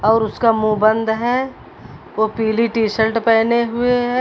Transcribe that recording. और उसका मुंह बंद है वो पीली टिशल्ट पहने हुए हैं।